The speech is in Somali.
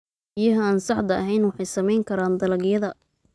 Biyaha aan saxda ahayn waxay saameyn karaan dalagyada.